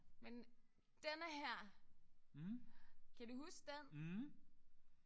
Men denne her kan du huske den?